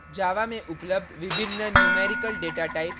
java में उपलब्ध विभिन्न numerical डेटाटाइप और